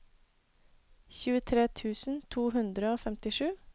tjuetre tusen to hundre og femtisju